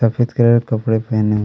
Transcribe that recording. सफेद कलर के कपड़े पहने--